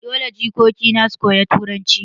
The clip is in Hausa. Dole jikoki na su koyi turanci.